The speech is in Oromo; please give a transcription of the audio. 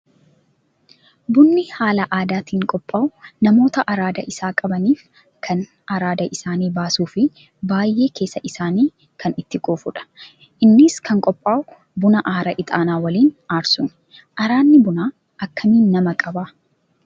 Bunni haala aadaatiin qophaa'u namoota araada isaa qabaniif kan araada isaan baasuu fi baay'ee keessi isaanii kan itti quufudha. Innis kan qophaa'u buna aara ixaanaa waliin aarsuuni. Araadni bunaa akkamiin nama qabaa?